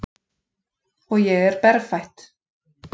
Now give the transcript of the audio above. Og ég er berfætt.